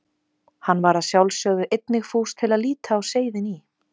Hann var að sjálfsögðu einnig fús til að líta á seiðin í